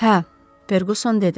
Hə, Ferquson dedi.